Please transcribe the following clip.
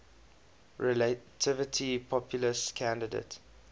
relatively populist candidate